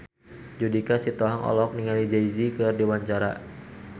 Judika Sitohang olohok ningali Jay Z keur diwawancara